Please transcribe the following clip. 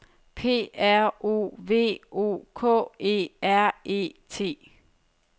P R O V O K E R E T